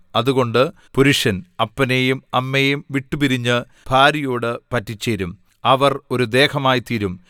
അതുകൊണ്ട് പുരുഷൻ അപ്പനെയും അമ്മയെയും വിട്ടുപിരിഞ്ഞ് ഭാര്യയോടു പറ്റിച്ചേരും അവർ ഒരു ദേഹമായി തീരും